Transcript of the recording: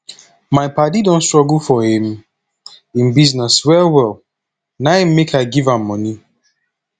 my paddy don struggle for im im business wellwell na im make i give am moni